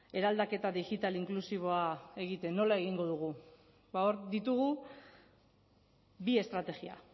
eraldaketa digital inklusiboa egiten nola egingo dugu ba hor ditugu bi estrategia